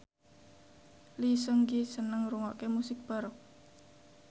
Lee Seung Gi seneng ngrungokne musik baroque